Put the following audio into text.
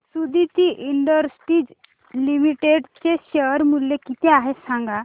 Suditi industries limited चे share मूल्य किती आहे सांगा